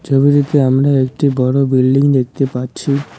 ছবিটিতে আমরা একটি বড় বিল্ডিং দেখতে পাচ্ছি।